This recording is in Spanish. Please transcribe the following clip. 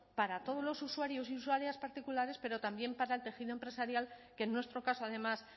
para todos los usuarios y usuarias particulares pero también para el tejido empresarial que en nuestro caso además